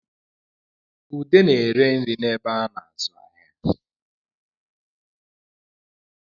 Ude na-ere nri n'ebe a na-azụ ahịa